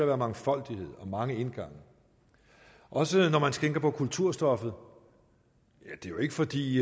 være mangfoldighed og mange indgange også når man tænker på kulturstoffet det er jo ikke fordi